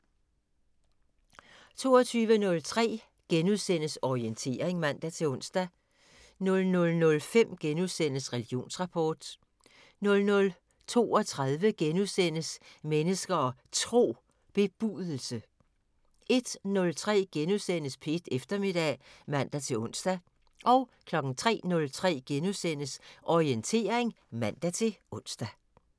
22:03: Orientering *(man-ons) 00:05: Religionsrapport * 00:32: Mennesker og Tro: Bebudelse * 01:03: P1 Eftermiddag *(man-ons) 03:03: Orientering *(man-ons)